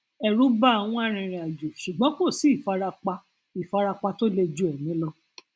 ẹrù bà àwọn arìnrìnàjò ṣùgbọn kò sí ìfarapa ìfarapa tó le ju ẹmí lọ